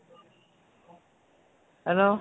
hello